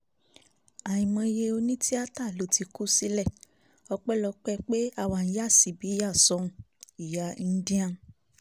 àìmọye òní tíátá ló ti kù sílẹ̀ ọpẹ́lọpẹ́ pé àwa ń yà síbí yà sóhun - ìyá indian